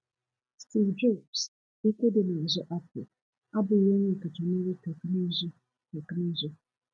Steve Jobs, ike dị n’azụ Apple, abụghị onye ọkachamara teknụzụ. teknụzụ.